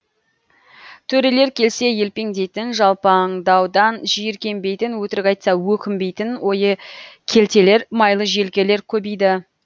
төрелер келсе елпеңдейтін жалпаңдаудан жиіркенбейтін өтірік айтса өкінбейтін ойы келтелер майлы желкелер көбейді